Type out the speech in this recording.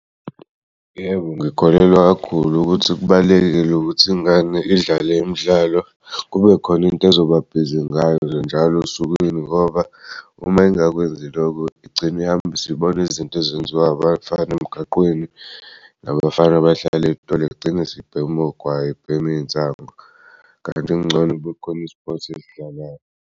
Yebo ngikholelwa kakhulu ukuthi kubalulekile ukuthi ingane idlale imidlalo kubekhona into ezoba bhizi ngayo njalo osukwini ngoba uma ingakwenzi lokhu igcine ihambisibona izinto ezenziwa abafana emgaqweni nabafana abahlala igcini isibhema ogwayi, ibhema iy'nsango kanti kungcono kubekhona i-sport esidlalayo.